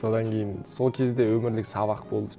содан кейін сол кезде өмірлік сабақ болды